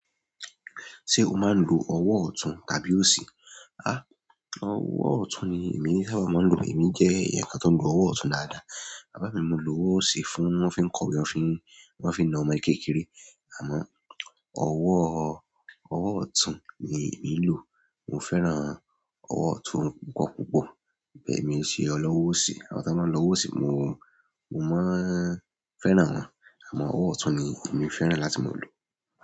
Ṣé o máa ń lo ọwọ́ ọ̀tún tàbí òsì? Há! Ọwọ́ ọ̀tún ni èmi sábà máa ń lò. Èmi jẹ́ ẹ̀yàn kan tó ń lo ọwọ́ ọ̀tún dáadáa. Bàbá mi máa ń lo ọwọ́ òsì fún wọ́n fi ń kọ́we, wọ́n fi ń nà ọmọ kékeré. Àmọ́, ọwọ́, ọwọ́ ọ̀tún ni èmi lò. Mo fẹ́ràn ọwọ́ ọ̀tún púpọ̀púpọ̀. Èmi ń ṣe olówó òsì. Àwọn tó wọ́n ń lo ọwọ́ òsì mo, mo máa ń fẹ́ràn wọn. Àmọ́, ọwọ́ ọ̀tún ni èmi fẹ́ràn láti máa lo.